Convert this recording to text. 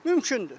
Mümkündür.